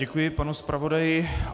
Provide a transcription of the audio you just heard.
Děkuji panu zpravodaji.